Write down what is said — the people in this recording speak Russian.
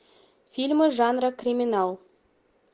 фильмы жанра криминал